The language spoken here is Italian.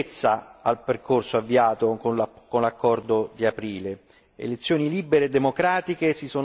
ha dato solidità e concretezza al percorso avviato con l'accordo di aprile.